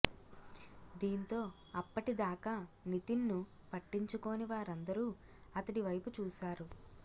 దీంతో అప్పటిదాకా నితిన్ ను పట్టించుకోని వారందరూ అతడి వైపు చూశారు